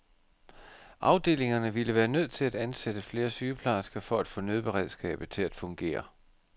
Afdelingerne ville være nødt til at ansætte flere sygeplejersker for at få nødberedskabet til at fungere.